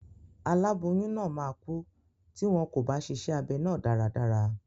Aláboyún náà máa kú tí wọn kò bá ṣíṣe abẹ náà dáradára.